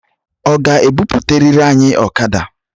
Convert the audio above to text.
Ọ ga-ebuputarirị anyị okada?